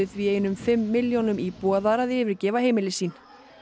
því einum fimm milljónum íbúa þar að yfirgefa heimili sín